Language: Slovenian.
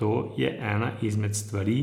To je ena izmed stvari,